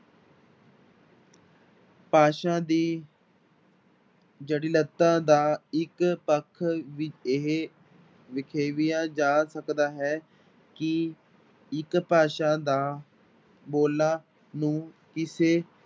ਭਾਸ਼ਾ ਦੀ ਜਟਿਲਤਾ ਦਾ ਇੱਕ ਪੱਖ ਵੀ ਇਹ ਵਖੇਵੀਆ ਜਾ ਸਕਦਾ ਹੈ ਕਿ ਇੱਕ ਭਾਸ਼ਾ ਦਾ ਬੋਲਾਂ ਨੂੰ ਕਿਸੇ